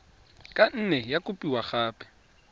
ka nne ya kopiwa gape